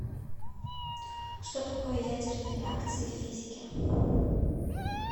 что такое ядерные реакции в физике